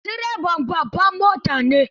Isa direban babbar mota ne.